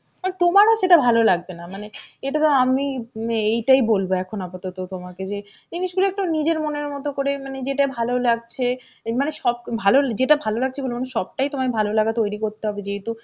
মানে তোমারো সেটা ভালো লাগবে না. মানে এই ধরো আমি মানে এইটাই বলবো এখন আপাতত তোমাকে যে জিনিসগুলো একটু নিজের মনের মত করে মানে যেটা ভালো লাগছে, মনে সব ভালো যেটা ভালো লাগছে বলব না সবটাই তোমায় ভালোলাগা তৈরী করতে হবে যেহেতু